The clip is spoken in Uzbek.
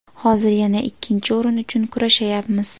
Hozir yana ikkinchi o‘rin uchun kurashayapmiz.